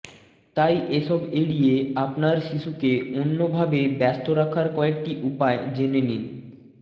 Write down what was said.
তাই এসব এড়িয়ে আপনার শিশুকে অন্যভাবে ব্যস্ত রাখার কয়েকটি উপায় জেনে নিন